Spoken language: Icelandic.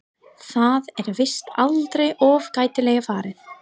Það er víst aldrei of gætilega farið.